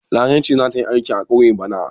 Larai ce za ta yi aiki a ƙauye bana.